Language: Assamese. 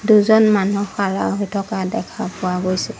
দুজন মানুহ খাৰা হৈ থকা দেখা পোৱা গৈছে।